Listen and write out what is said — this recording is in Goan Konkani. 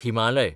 हिमालय